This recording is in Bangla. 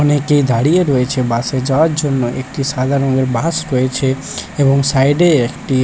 অনেকে দাঁড়িয়ে রয়েছে বাস এ যাওয়ার জন্য একটি সাদা রঙের বাস রয়েছে এবং সাইড এ একটি--